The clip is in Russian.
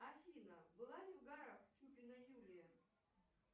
афина была ли в горах чупина юлия